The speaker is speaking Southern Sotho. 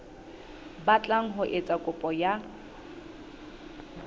batlang ho etsa kopo ya